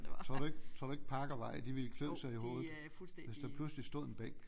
Tror du ikke tror du ikke Parkvej de ville klø sig i hovedet hvis der pludselig stod en bænk